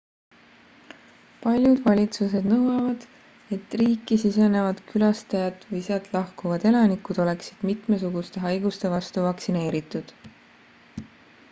paljud valitsused nõuavad et riiki sisenevad külastajad või sealt lahkuvad elanikud oleksid mitmesuguste haiguste vastu vaktsineeritud